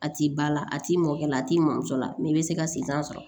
A t'i ba la a t'i mɔkɛ la a t'i mamuso la i bɛ se ka siran sɔrɔ